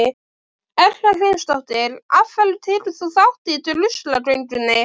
Erla Hlynsdóttir: Af hverju tekur þú þátt í druslugöngunni?